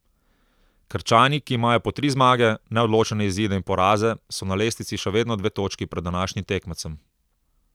Krčani, ki imajo po tri zmage, neodločene izide in poraze, so na lestvici še vedno dve točki pred današnjim tekmecem.